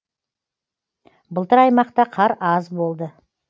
былтыр аймақта қар аз болды